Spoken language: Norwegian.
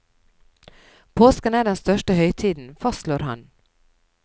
Påsken er den største høytiden, fastslår han.